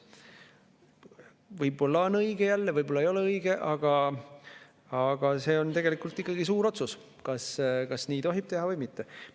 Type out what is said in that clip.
Võib-olla on jälle õige, võib-olla ei ole õige, aga see on tegelikult ikkagi suur otsus, kas nii tohib teha või mitte.